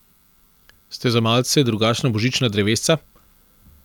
Ste za malce drugačna božična drevesca?